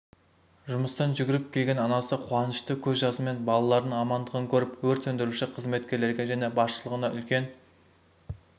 жұмыстан жүгіріп келген анасы қуанышты көз жасымен балаларының амандығын көріп өрт сөндіруші қызметкерлерге және басшылығына үлкен